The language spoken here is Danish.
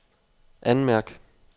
anmærk